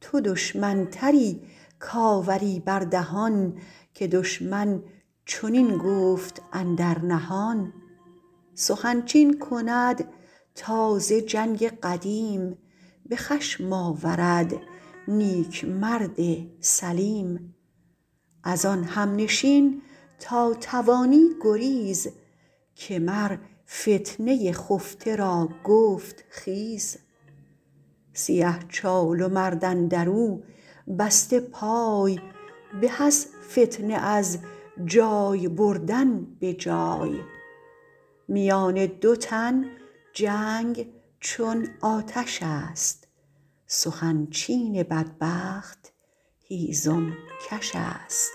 تو دشمن تری کآوری بر دهان که دشمن چنین گفت اندر نهان سخن چین کند تازه جنگ قدیم به خشم آورد نیک مرد سلیم از آن همنشین تا توانی گریز که مر فتنه خفته را گفت خیز سیه چال و مرد اندر او بسته پای به از فتنه از جای بردن به جای میان دو تن جنگ چون آتش است سخن چین بدبخت هیزم کش است